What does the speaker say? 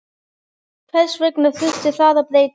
Hvers vegna þurfti það að breytast?